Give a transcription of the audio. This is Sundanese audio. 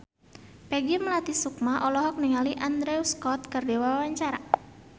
Peggy Melati Sukma olohok ningali Andrew Scott keur diwawancara